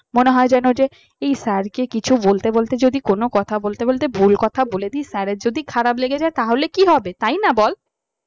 মনে হয় যেন যে এই sir কে কিছু বলতে বলতে যদি কোন কথা বলতে বলতে ভুল কথা বলে দেই sir এর যদি খারাপ লেগে যায় তাহলে কি হবে তাই না বল